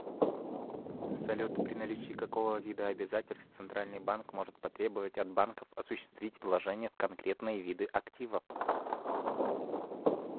салют при наличии какого вида обязательств центральный банк может потребовать от банков осуществить вложения в конкретные виды активов